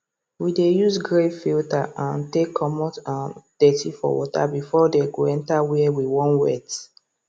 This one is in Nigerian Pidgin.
we dey use grave filter um take commot um dirty for water before dey go enter where we wan wet